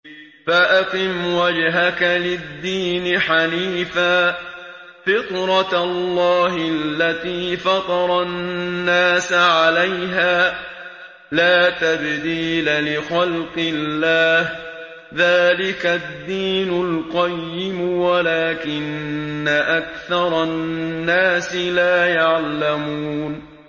فَأَقِمْ وَجْهَكَ لِلدِّينِ حَنِيفًا ۚ فِطْرَتَ اللَّهِ الَّتِي فَطَرَ النَّاسَ عَلَيْهَا ۚ لَا تَبْدِيلَ لِخَلْقِ اللَّهِ ۚ ذَٰلِكَ الدِّينُ الْقَيِّمُ وَلَٰكِنَّ أَكْثَرَ النَّاسِ لَا يَعْلَمُونَ